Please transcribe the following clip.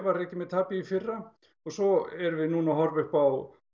rekið með tapi í fyrra svo erum við núna að horfa upp á